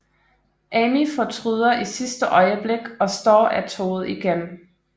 Amy fortryder i sidste øjeblik og står af toget igen